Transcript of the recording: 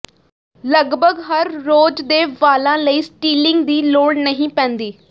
ਲਗਭਗ ਹਰ ਰੋਜ਼ ਦੇ ਵਾਲਾਂ ਲਈ ਸਟੀਲਿੰਗ ਦੀ ਲੋੜ ਨਹੀਂ ਪੈਂਦੀ